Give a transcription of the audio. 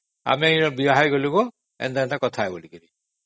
ଆମେ ଏଠି ବାହା ହେଇଯାଇଛୁ ବୋଲି